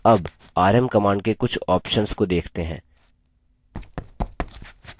अब rm command के कुछ options को देखते हैं